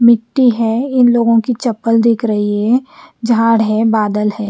मिट्टी है इन लोगों की चप्पल दिख रही है झाड है बादल है।